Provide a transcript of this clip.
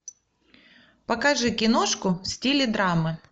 покажи киношку в стиле драмы